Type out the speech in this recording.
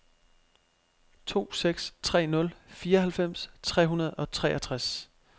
to seks tre nul fireoghalvfems tre hundrede og treogtres